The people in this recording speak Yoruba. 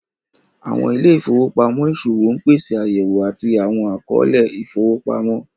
Awọn ìlẹ̀-ifowopamọ iṣowo n pèsè ayẹ̀wò àti awọn akọọ̀lẹ̀ ifowopamọ.